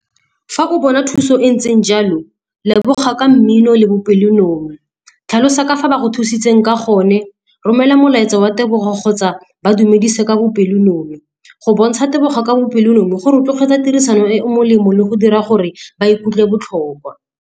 Fa o bona thuso e ntseng jalo leboga ka mmino le bopelonomi, tlhalosa ka fa ba go thusitseng ka gone, romela molaetsa wa tebogo kgotsa ba dumedise ka bopelonomi. Go bontsha leboga ka bopelonomi go rotloetsa tirisano e o molemo le go dira gore ba ikutlwe botlhokwa.